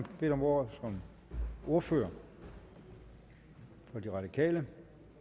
bedt om ordet som ordfører for de radikale